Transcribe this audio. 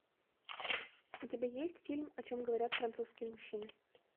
у тебя есть фильм о чем говорят французские мужчины